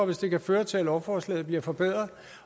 det kan føre til at lovforslaget bliver forbedret